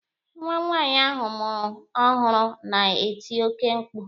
Nwa nwaanyị ahụ mụrụ ọhụrụ na-eti oke mkpu.